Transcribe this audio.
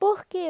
Por quê?